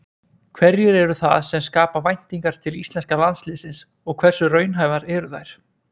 Hverjir eru það sem skapa væntingar til íslenska landsliðsins og hversu raunhæfar eru þær?